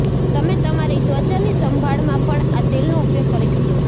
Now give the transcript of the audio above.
તમે તમારી ત્વચાની સંભાળમાં પણ આ તેલનો ઉપયોગ કરી શકો છો